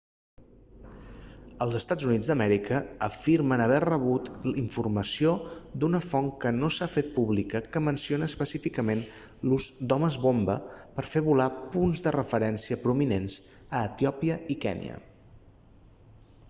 els eua afirmen haver rebut informació d'una font que no s'ha fet pública que menciona específicament l'ús d'homes-bomba per a fer volar punts de referència prominents a etiòpia i kènia